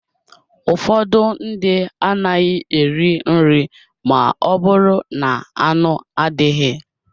Ụfọdụ ndị anaghị eri nri ma ọ bụrụ na-anụ adịghị